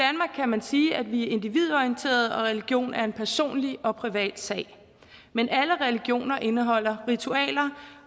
kan man sige at vi er individorienterede og at religion er en personlig og privat sag men alle religioner indeholder ritualer